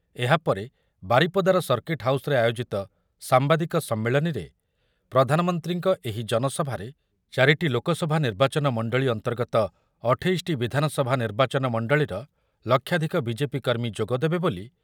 ଏହାପରେ ବାରିପଦାର ସର୍କିଟ୍ ହାଉସ୍‌ରେ ଆୟୋଜିତ ସାମ୍ବାଦିକ ସମ୍ମିଳନୀରେ ପ୍ରଧାନମନ୍ତ୍ରୀଙ୍କ ଏହି ଜନସଭାରେ ଚାରିଟି ଲୋକସଭା ନିର୍ବାଚନ ମଣ୍ଡଳି ଅନ୍ତର୍ଗତ ଅଠେଇଶଟି ବିଧାନସଭା ନିର୍ବାଚନ ମଣ୍ଡଳୀର ଲକ୍ଷାଧିକ ବି ଜେ ପି କର୍ମୀ ଯୋଗ ଦେବେ ବୋଲି